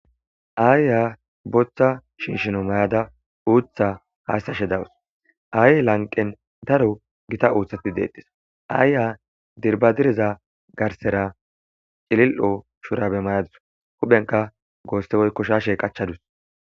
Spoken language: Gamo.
aayya boththa shinshino may7ada uutha haastashe dawus aaye lanqen daro gita uuthati deettis aayya dirbadireza garsera cilil7o shurabe mayadus huphenka goostewoy koshashe qachchadus